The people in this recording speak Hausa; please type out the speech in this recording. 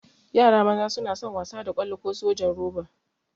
Yara maza suna son wasa da ƙwallo ko sojan roba.